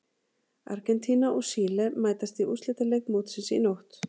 Argentína og Síle mætast í úrslitaleik mótsins í nótt.